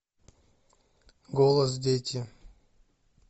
голос дети